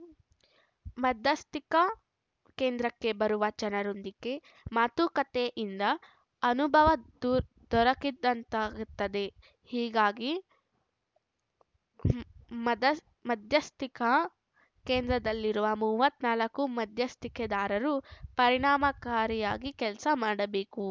ಮಧ್ಯಸ್ಥಿಕಾ ಕೇಂದ್ರಕ್ಕೆ ಬರುವ ಜನರೊಂದಿಗೆ ಮಾತುಕತೆಯಿಂದ ಅನುಭವ ದೂರ್ ದೊರಕಿದಂತಾಗುತ್ತದೆ ಹಾಗಾಗಿ ಮದ ಮಧ್ಯಸ್ಥಿಕಾ ಕೇಂದ್ರದಲ್ಲಿರುವ ಮೂವತ್ತ್ ನಾಲ್ಕು ಮಧ್ಯಸ್ಥಿಕೆದಾರರು ಪರಿಣಾಮಕಾರಿಯಾಗಿ ಕೆಲಸ ಮಾಡಬೇಕು